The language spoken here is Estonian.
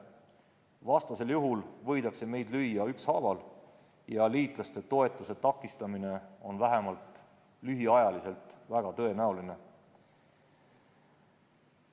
Vastasel juhul võidakse meid lüüa ükshaaval ja liitlaste toetuse takistamine on vähemalt lühiajaliselt väga tõenäoline.